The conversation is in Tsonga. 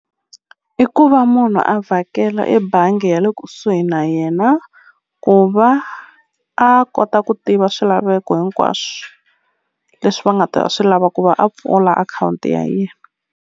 I ku va munhu a vhakela ebangi ya le kusuhi na yena ku va a kota ku tiva swilaveko hinkwaswo leswi va nga ta swi lava ku va a pfula akhawunti ya yena.